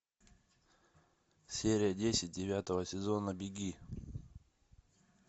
серия десять девятого сезона беги